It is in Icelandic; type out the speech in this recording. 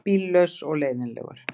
Bíllaus og leiðinlegur.